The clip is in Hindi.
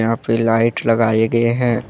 यहां पे लाइट लगाए गए हैं।